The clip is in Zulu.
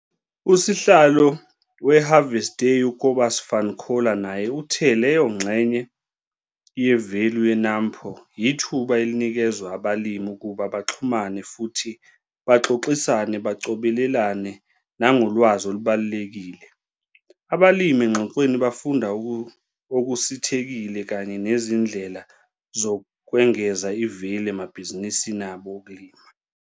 Usihlalo we-Harvest Day u-Cobus van Coller naye uthe leyo ngxenye yevelu ye-NAMPO yithuba elinikezwa abalimi ukuba baxhumane futhi baxoxisane bacobelelane nangolwazi olubalulekile. Abalimi engxoxweni bafunda okusithekile kanye nezindlela zokwengeza ivelu emabhizinisini abo okulima.